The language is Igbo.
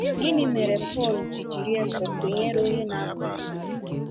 Gịnị mere Pọl ji jiri Esau tụnyere onye na-akwa iko?